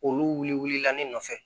Olu wulila ne nɔfɛ